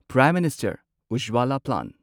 prime minister Ujjwala plan